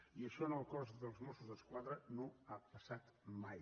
i això en el cos dels mossos d’esquadra no ha passat mai